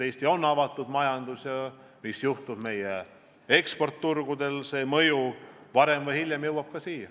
Eestis on avatud majandus ja selle mõju, mis juhtub meie eksporditurgudel, varem või hiljem jõuab ka siia.